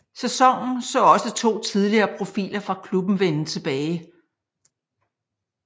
Sæsonen så også to tidligere profiler fra klubben vende tilbage